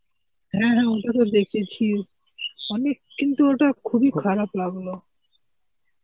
হ্যাঁ হ্যাঁ ওটা তো দেখেছি, অনেক কিন্তু ওটা খুবই খারাপ লাগলো.